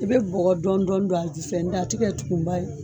I bɛ bɔgɔ dɔɔni dɔɔni don a jufɛ n dɛ a tikɛ tumuba ye